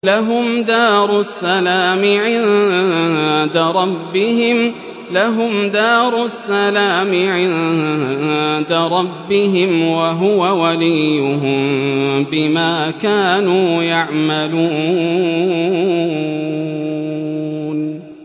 ۞ لَهُمْ دَارُ السَّلَامِ عِندَ رَبِّهِمْ ۖ وَهُوَ وَلِيُّهُم بِمَا كَانُوا يَعْمَلُونَ